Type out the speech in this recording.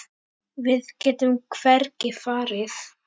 Við getum hvergi farið.